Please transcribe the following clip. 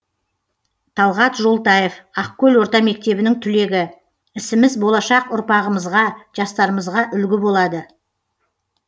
талғат жолтаев ақкөл орта мектебінің түлегі ісіміз болашақ ұрпағымызға жастарымызға үлгі болады